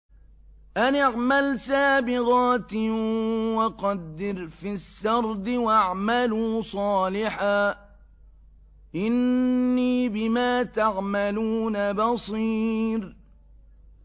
أَنِ اعْمَلْ سَابِغَاتٍ وَقَدِّرْ فِي السَّرْدِ ۖ وَاعْمَلُوا صَالِحًا ۖ إِنِّي بِمَا تَعْمَلُونَ بَصِيرٌ